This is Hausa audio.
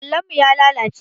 Allon mu ya lalace.